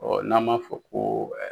n'an ma fɔ ko